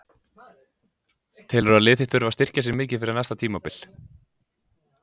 Telurðu að lið þitt þurfi að styrkja sig mikið fyrir næsta tímabil?